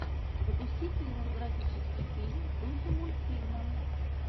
запусти кинематографический фильм в духе мультфильма